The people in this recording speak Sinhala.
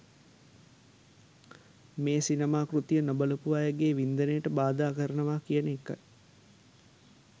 මේ සිනමා කෘතිය නොබලපු අයගේ වින්දනයට බාධා කරනවා කියන එකයි.